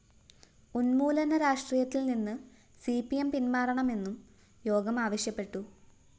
ഉന്മൂലന രാഷ്ട്രീയത്തില്‍നിന്ന് C P M പിന്‍മാറണമെന്നും യോഗം ആവശ്യപ്പെട്ടു